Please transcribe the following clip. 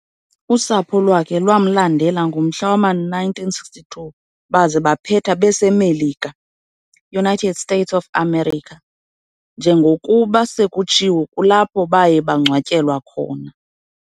Usapho lwakhe lwamlandela ngomnyaka wama-1962 baze baphetha bese Melika, United States of America, njengokuba sekutshiwo kulapho baye bangcwatyelwa khona.